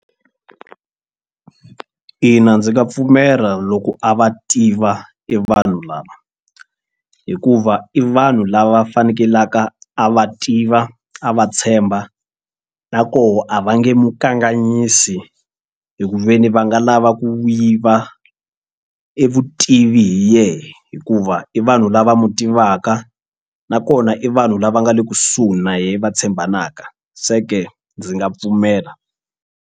Ina ndzi nga pfumela loko a va tiva i vanhu lava hikuva i vanhu lava fanekelaka a va tiva a va tshemba na koho a va nge mu kanganyisi hi ku ve ni va nga lava ku yiva e vutivi hi yehe hikuva i vanhu lava mu tivaka nakona i vanhu lava nga le kusuhi na yena va tshembanaka se ke ndzi nga pfumela.